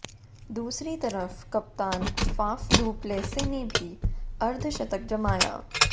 दूसरी तरफ कप्तान फाफ डू प्लेसी ने भी अर्धशतक जमाया